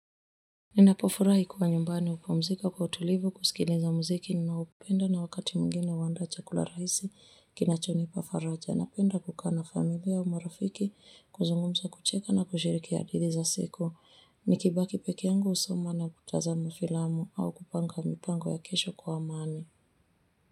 Ninapofurahi kuwa nyumbani upumzika kwa utulivu kusikiliza mziki ninaoupenda na wakati mwingine uandaa chakula raisi kinachonipa faraja na penda kukaa na familia au marafiki kuzungumza kucheka na kushirikea hadidhi za siku ni kibaki peki yangu usoma na kutaza mfilamu au kupanga mipango ya kesho kwa amani.